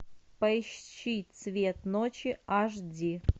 поищи цвет ночи аш ди